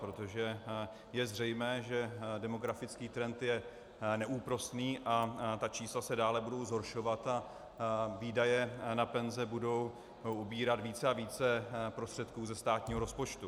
Protože je zřejmé, že demografický trend je neúprosný a ta čísla se dále budou zhoršovat a výdaje na penze budou ubírat více a více prostředků ze státního rozpočtu.